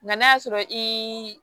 Nka n'a y'a sɔrɔ i